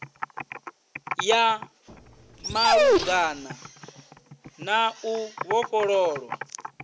ya malugana na u vhofhololwa